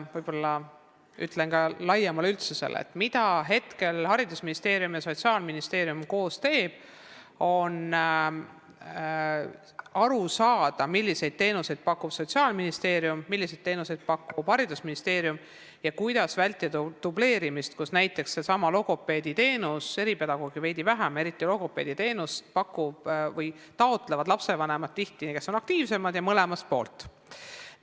Ma ütlen ka laiemale üldsusele, et haridusministeerium ja Sotsiaalministeerium püüavad praegu koos aru saada, vaadates, milliseid teenuseid pakub Sotsiaalministeerium ja milliseid teenuseid pakub haridusministeerium, kuidas vältida dubleerimist näiteks sellesama logopeediteenuse puhul , sest eriti logopeediteenust taotlevad aktiivsemad lastevanemad tihti mõlemalt poolt.